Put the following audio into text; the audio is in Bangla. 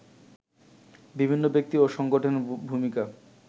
বিভিন্ন ব্যক্তি ও সংগঠনের ভূমিকা